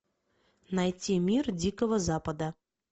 найти мир дикого запада